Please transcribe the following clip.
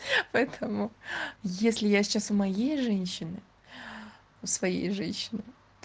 поэтому если я сейчас в моей женщины в своей женщине